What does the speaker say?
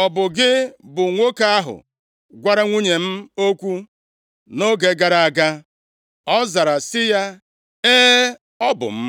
“Ọ bụ gị bụ nwoke ahụ gwara nwunye m okwu nʼoge gara aga?” Ọ zara sị ya, “E, ọ bụ m.”